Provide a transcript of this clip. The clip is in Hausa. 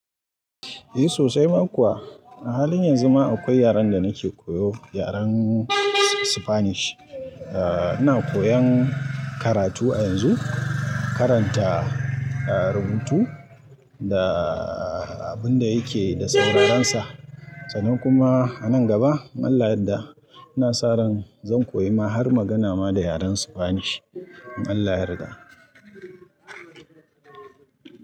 Eh sosai ma kuwa. A halin yanzu ma akwai yaren da nike koyo, yaren spanish. Eh ina koyan karatu a yanzu, karanta rubutu da abun da yake da sauraren sa sannan kuma a nan gaba in Allah ya yadda ina sa ran zan koyi ma har magana ma da yaren spanish. In Allah ya yarda.